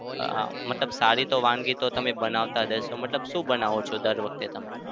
હા મતલબ સારી તો વાનગી તો તમે બનાવતા જ હશો મતલબ શું બનાવો છો દર વખતે તમે?